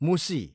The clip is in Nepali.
मुसी